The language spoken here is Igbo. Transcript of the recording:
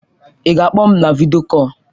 Ị ga-akpọ m na vidio kọl?